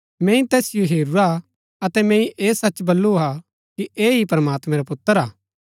मैंई तैसिओ हेरूरा अतै मैंई ऐह सच बल्लू हा कि ऐह ही प्रमात्मैं रा पुत्र हा